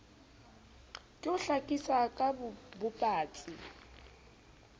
ke ho hlakisa ka bobatsi